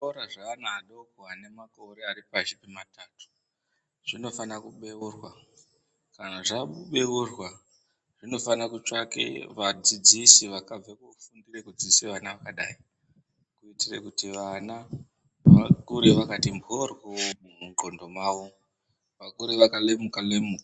Zvikora zveana adoko anemakore aripashi pematatu zvinofana kubeurwa. Kana zvabeurwa zvinofana kutsvake vadzidzisi vakabve kufundire kudzidzise vana vakadai. Kuitire kuti vana vakure vakati mhoryo mundxondo mavo, vakure vakalemuka-lemuka.